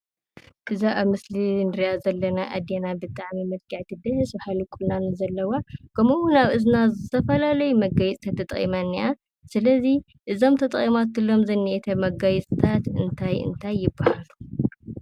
እዛ አብ ምስሊ እንሪአ ዘለና አዴና ብጣዕሚ ምልክዕቲ ደስ... በሃሊ ቁናኖ ዘለዋ ከምኡውን አብ እዝና ዝተፈላለዩ መጋየፂታት ተጠቂማ እኒአ፡፡ ስለዚ እዞም ተጠቒማትሎም ዝኒአቶ መጋየፂታት እንታይ እንታይ ይበሃሉ?